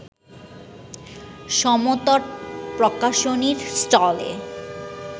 সমতট প্রকাশনীর স্টলে